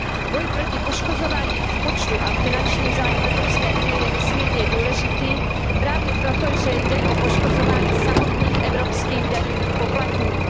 Boj proti poškozování rozpočtu a finančních zájmů EU je nesmírně důležitý právě proto, že jde o poškozování samotných evropských daňových poplatníků.